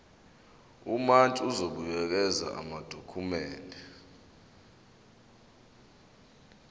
umantshi uzobuyekeza amadokhumende